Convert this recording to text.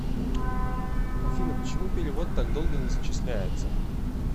афина почему перевод так долго не зачисляется